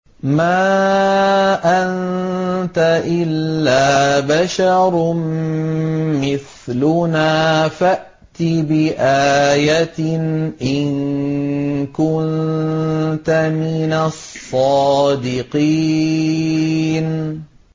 مَا أَنتَ إِلَّا بَشَرٌ مِّثْلُنَا فَأْتِ بِآيَةٍ إِن كُنتَ مِنَ الصَّادِقِينَ